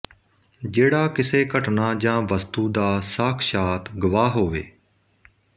ਜਿਹੜਾ ਕਿਸੇ ਘਟਨਾ ਜਾਂ ਵਸਤੂ ਦਾ ਸਾਖਸ਼ਾਤ ਗਵਾਹ ਹੋਵੇ